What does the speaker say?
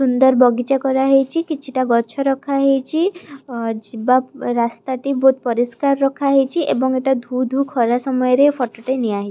ସୁନ୍ଦର ବଗିଚା କରାହେଇଚି କିଛିଟା ଗଛ ରଖାହେଇଚି ଅ ଯିବା ରାସ୍ତାଟି ବହୁତ ପରିଷ୍କାର ରଖାହେଇଚି ଏବଂ ଏଇଟା ଧୁ ଧୁ ଖରାରେ ସମୟରେ ଫଟଟି ନିଆ ହେଇ --